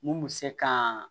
Mun bɛ se ka